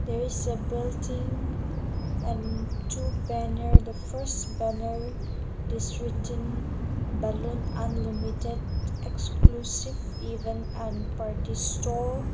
there is a building and two banner the first banner is written balloon unlimited exclusive event and party store.